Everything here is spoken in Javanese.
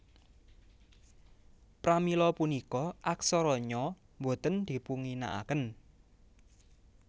Pramila punika aksara Nya boten dipunginakaken